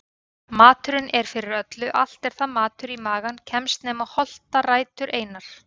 Maturinn er fyrir öllu allt er það matur í magann kemst nema holtarætur einar.